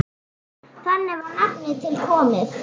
Þannig var nafnið til komið.